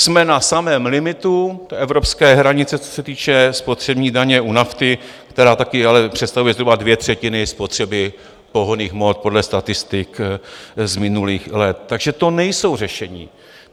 Jsme na samém limitu evropské hranice, co se týče spotřební daně u nafty, která také ale představuje zhruba dvě třetiny spotřeby pohonných hmot podle statistik z minulých let, takže to nejsou řešení.